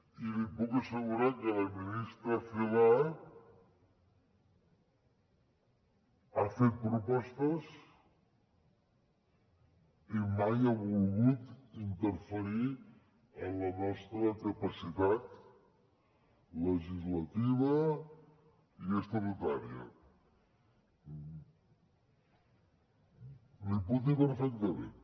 i li puc assegurar que la ministra celaá ha fet propostes i mai ha volgut interferir en la nostra capacitat legislativa i estatutària l’hi puc dir perfectament